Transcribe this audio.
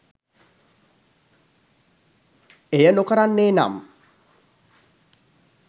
එය නොකරන්නේ නම්